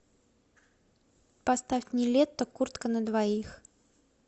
поставь нилетто куртка на двоих